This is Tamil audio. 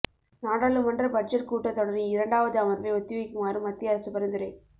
நாடாளுமன்ற பட்ஜெட் கூட்டத் தொடரின் இரண்டாவது அமர்வை ஒத்தி வைக்குமாறு மத்திய அரசு பரிந்துரை